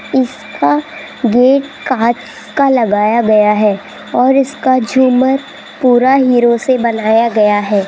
इसका गेट कांच का लगाया गया है और इसका झूमर पूरा हीरों से बनाया गया है।